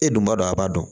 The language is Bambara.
E dun b'a dɔn a b'a dɔn